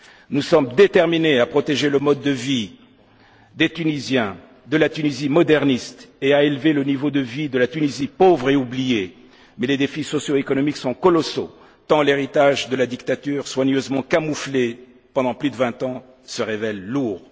Nous sommes déterminés à protéger le mode de vie des Tunisiens, de la Tunisie moderniste et à élever le niveau de vie de la Tunisie pauvre et oubliée, mais les défis socio économiques sont colossaux, tant l'héritage de la dictature, soigneusement camouflé pendant plus de vingt ans, se révèle lourd.